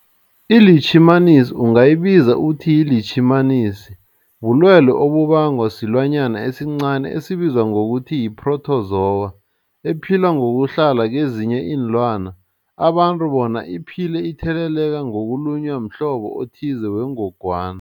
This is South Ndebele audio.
iLitjhimanisi ungayibiza uthiyilitjhimanisi, bulwelwe obubangwa silwanyana esincani esibizwa ngokuthiyi-phrotozowa ephila ngokuhlala kezinye iinlwana, abantu bona iphile itheleleka ngokulunywa mhlobo othize wengogwana.